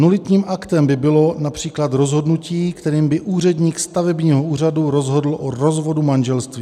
Nulitním aktem by bylo například rozhodnutí, kterým by úředník stavebního úřadu rozhodl o rozvodu manželství.